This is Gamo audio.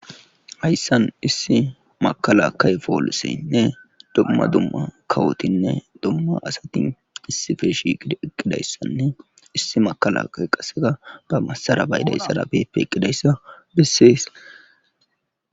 hayssan issi makala kay pooliseynne domma dumma kawotinne dumma asati issife shiiqidi eqqidayssanne issi makalaka qaseka ba masara baydayssara peeqidayssa bessees.